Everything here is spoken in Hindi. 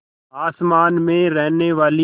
आसमान में रहने वाली